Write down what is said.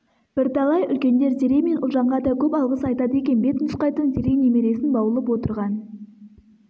бірталай үлкендер зере мен ұлжанға да көп алғыс айтады екен бет нұсқайтын зере немересін баулып отырған